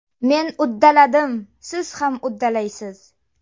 Men uddaladim, siz ham uddalaysiz!